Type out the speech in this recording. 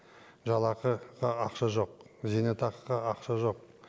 жалақыға ақша жоқ зейнетақыға ақша жоқ